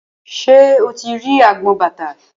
Ṣé o ti rí agbọn bàtà?